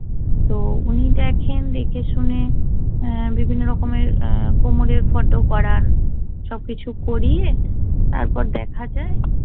তো উনি দেখেন দেখে শুনে অ্যা বিভিন্ন রকমের অ্যা কোমরের ফটো করান। সব কিছু করিয়ে তারপর দেখা যায়